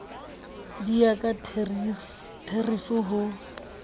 di ya ka therifi ho